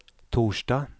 torsdag